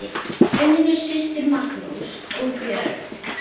Unnur systir, Magnús og börn.